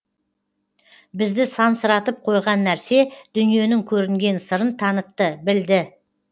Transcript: бізді сансыратып қойған нәрсе дүниенің көрінген сырын танытты білді